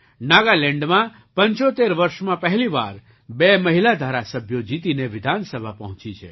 નાગાલેન્ડમાં 75 વર્ષમાં પહેલી વાર બે મહિલા ધારાસભ્યો જીતીને વિધાનસભા પહોંચી છે